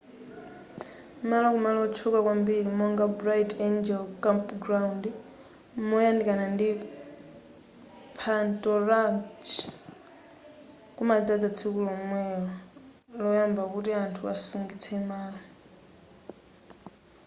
malo ku malo otchuka kwambiri monga bright angle campground moyandikana ndi phanto ranch kumadzadza tsiku lomwelo loyamba kuti anthu asungitse malo